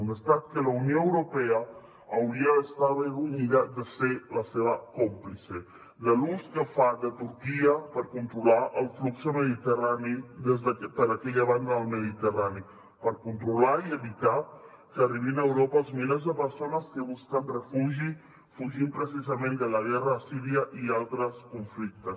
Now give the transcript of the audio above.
un estat que la unió europea hauria d’estar avergonyida de ser la seva còmplice de l’ús que fa de turquia per controlar el flux mediterrani per aquella banda del mediterrani per controlar i evitar que arribin a europa els milers de persones que busquen refugi fugint precisament de la guerra de síria i altres conflictes